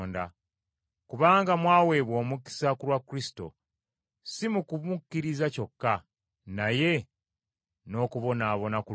Kubanga mwaweebwa omukisa, ku lwa Kristo, si mu kumukkiriza kyokka, naye n’okubonaabona ku lulwe.